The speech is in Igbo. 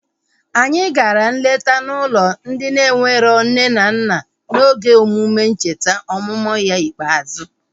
Anyị gara nleta n'ụlọ ndị enwero nne na nna n'oge emume ncheta ọmụmụ ya ikpeazụ